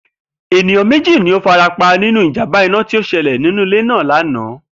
Ènìyán méjì ló farapa nínú ìjàmbá iná tí ó s̩e̩lè̩ nínú ilé náà lánàá